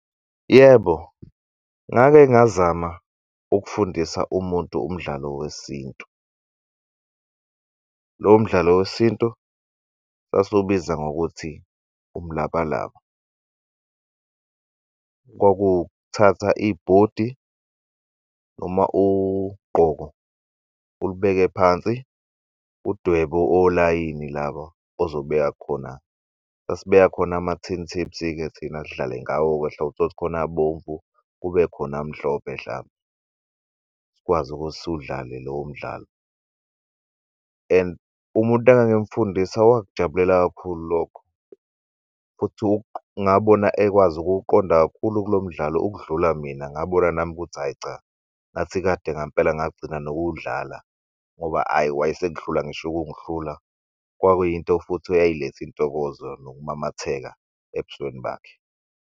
Yebo, ngake ngazama ukufundisa umuntu umdlalo wesintu. Lowo mdlalo wesintu sasiwubiza ngokuthi umlabalaba kwakuwuk'thathwa ibhodi noma ugqoko ulubeke phansi, udwebe olayini laba ozobeka khona sasibeka khona amathini tapes-ke thina sidlale ngawo hlamp'utholukuthi khona abomvu kube khona mhlophe hlampe sikwazi ukuthi siwudlale lowo mdlalo. And umuntu engangimfundisa wakujabulela kakhulu lokho futhi ngabona ekwazi ukuwuqonda kakhulu lomdlalo ukudlula mina ngabona nami ukuthi hhayi cha, ngathi kade ngampela ngagcina nokuwudlala ngoba ayi wayesengihlula ngisho ukungihlula kwakuyinto futhi eyayiletha intokozo nokumamatheka ebusweni bakhe.